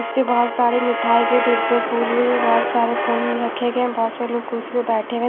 उसपे बहोत सारे मिठाई के डिब्बे फूल-उल बहोत सारे फोन उन रखें गए हैं बहोत से लोग कुर्सी पे बैठे हुए --